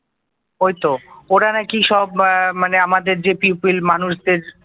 ওই তো ওরা নাকি সব উম মানে আমাদের যে পিপল মানুষদের